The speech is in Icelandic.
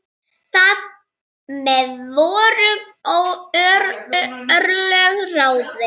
Þar með voru örlög ráðin.